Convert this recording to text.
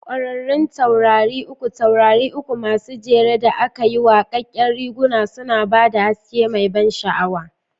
Ƙwararrun Taurari Uku Taurari uku masu jere da aka yi waƙaƙƙen riguna suna ba da haske mai ban sha'awa.